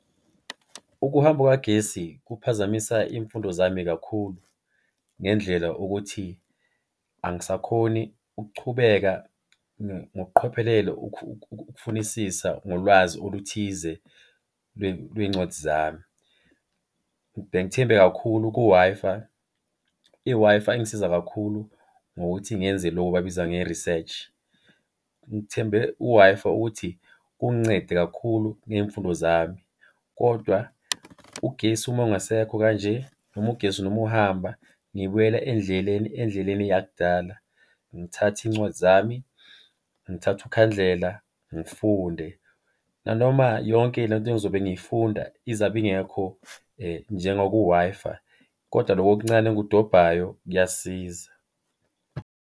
Ukuhamba kukagesi kuphazamisa iy'mfundo zami kakhulu, ngendlela ukuthi angisakhoni ukuchubeka ngokuqhophelelo ukufunisisa ngolwazi oluthize lwey'ncwadi zami. Bengithembe kakhulu ku-Wi-Fi. I-Wi-Fi ingisiza kakhulu ngokuthi ngenze loku bakubiza nge-research. Ngithembe u-Wi-Fi ukuthi kungincede kakhulu ngey'mfundo zami kodwa ugesi uma ungasekho kanje noma ugesi noma uhamba ngibuyela endleleni endleleni yakudala, ngithathe iy'ncwadi zami, ngithathe ukhandlela ngifunde. Nanoma yonke loo nto engizobe ngiyifunda izabe ingekho njengaku-Wi-Fi kodwa loko okuncane engikudobhayo kuyasiza.